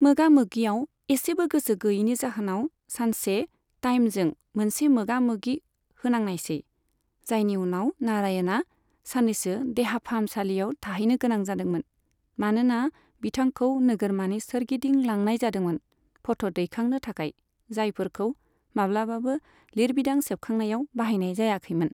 मोगामोगियाव इसेबो गोसो गैयैनि जाहोनाव सानसे टाइमजों मोनसे मोगामोगि होनांनायसै, जायनि उनाव नारायणआ साननैसो देहा फाहामसालियाव थाहैनो गोनां जादोंमोन, मानोना बिथांखौ नोगोरमानि सोरगिदिं लांनाय जादोंमोन फट' दैखांनो थाखाय जायफोरखौ माब्लाबाबो लिरबिदां सेबखांनायाव बाहायनाय जायाखैमोन।